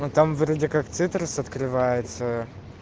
ну там вроде как цитрус открывается